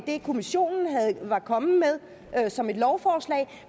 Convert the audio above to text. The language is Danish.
det kommissionen var kommet med som et lovforslag